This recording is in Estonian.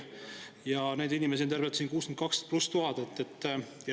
Ja neid inimesi on tervelt 62 000 pluss.